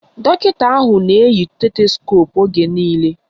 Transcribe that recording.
Dọkịta ahụ na-eyi stetoskoopu oge niile